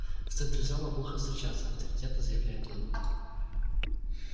в центре зала плохо встречаться авторитетно заявляет он